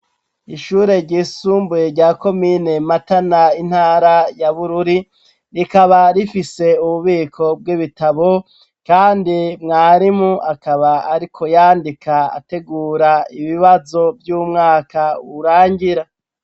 Ishure ryisumbuye rya komine Matana intara ya Bururi, rikaba rifise ububiko bw'ibitabo, kandi mwarimu akaba ariko yandika ategura ibibazo vy'umwaka urangira.